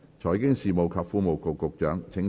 財經事務及庫務局局長，請動議你的修正案。